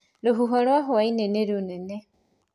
Rũhuho rwa hwainĩ nĩ rũnene